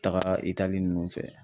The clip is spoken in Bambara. Taga Itali ninnu fɛ.